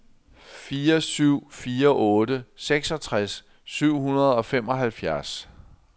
fire syv fire otte seksogtres syv hundrede og femoghalvfjerds